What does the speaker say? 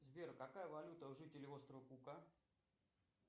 сбер какая валюта у жителей острова кука